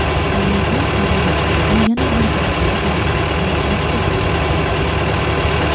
"Tolibon" Afg‘onistonda yana bir viloyat markazini bosib oldi.